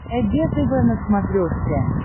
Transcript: эг тв на смотрешке